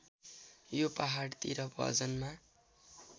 यो पहाडतिर भजनमा